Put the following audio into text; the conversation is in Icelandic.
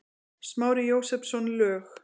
Smári Jósepsson, lög